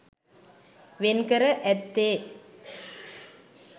වෙන්කර ඇත්තේ